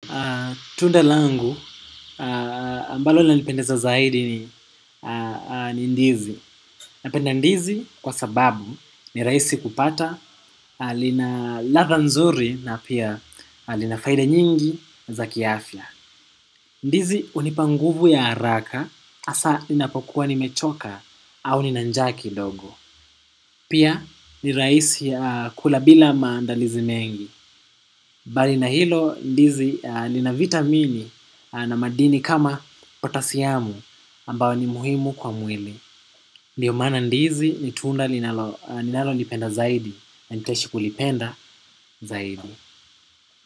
Tunda langu ambalo inanipendeza zaidi ni ndizi. Napenda ndizi kwa sababu ni rahisi kupata, lina ladha nzuri na pia lina faida nyingi za kiafya. Ndizi hunipa nguvu ya haraka hasa inapokuwa nimechoka au nina njaa kidogo. Pia ni rahisi kula bila maandalizi mengi. Mbali na hilo ndizi lina vitamini na madini kama potasiamu ambao ni muhimu kwa mwili. Ndio maana ndizi ni tunda ninalolipenda zaidi. Nitaishi kulipenda zaidi.